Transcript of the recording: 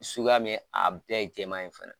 Suguya min ye , a bɛɛ ye jɛman ye fana.